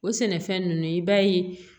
O sɛnɛfɛn ninnu i b'a ye